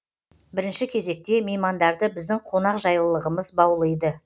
бірінші кезекте меймандарды біздің қонақжайлылығымыз баулиды